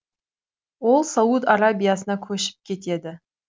ол сауд арабиясына көшіп кетеді